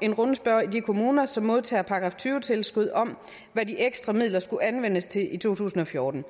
en rundspørge i de kommuner som modtager § tyve tilskud om hvad de ekstra midler skulle anvendes til i to tusind og fjorten